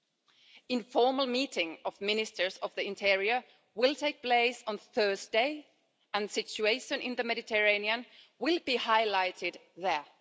An informal meeting of ministers of the interior will take place on Thursday and the situation in the Mediterranean will be highlighted there.